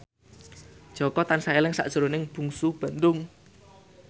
Jaka tansah eling sakjroning Bungsu Bandung